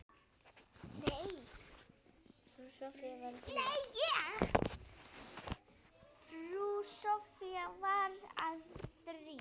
Frú Soffía var að þrífa.